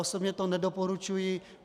Osobně to nedoporučuji.